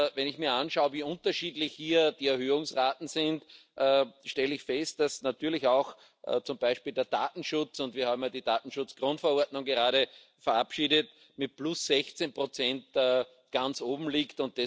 Wenn ich mir anschaue, wie unterschiedlich hier die Erhöhungsraten sind, stelle ich fest, dass zum Beispiel der Datenschutz und wir haben ja die Datenschutzgrundverordnung gerade verabschiedet mit plus 16 ganz oben liegt.